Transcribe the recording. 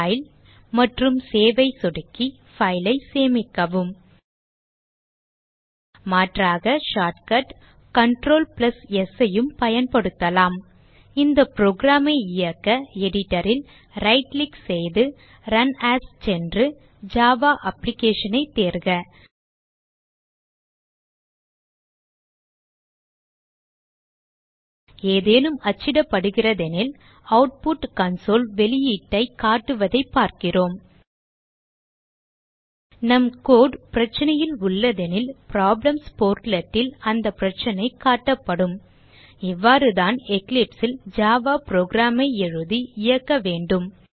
file மற்றும் Save ஐ சொடுக்கி file ஐ சேமிக்கவும் மாற்றாக ஷார்ட்கட் கன்ட்ரோல் S யும் பயன்படுத்தலாம் இந்த program ஐ இயக்க editor ல் ரைட் கிளிக் செய்து ரன் ஏஎஸ் சென்று ஜாவா application ஐ தேர்க ஏதேனும் அச்சிடப்படுகிறதெனில் ஆட்புட் கன்சோல் வெளியீட்டைக் காட்டுவதைப் பார்க்கிறோம் நம் கோடு பிரச்சனையில் உள்ளதெனில் ப்ராப்ளம்ஸ் portlet ல் அந்த பிரச்சனைக் காட்டப்படும் இவ்வாறுதான் Eclipse ல் ஜாவா program ஐ எழுதி இயக்க வேண்டும்